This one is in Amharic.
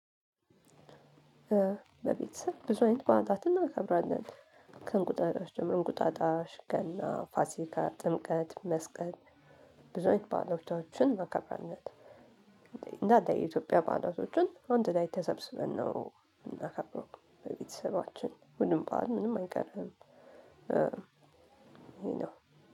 በቤተሰብ ብዙ አይነት በዓላትን እናከብራለን ከእንቁጣጣሽ ጀምሮ እንቁጣጣሽ ገና ፋሲካ ጥምቀት መስቀል ብዙ አይነት ባህሎቻችን ማከብራነት የኢትዮጵያ ባህላቶችን አንድ ላይ ተሰብስበን ነው የምናከብረው። በቤተሰባችን ሁሉም ባል ምንም አይቀርም።